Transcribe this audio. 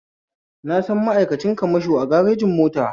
Na san ma'aikacin kamasho a garejin mota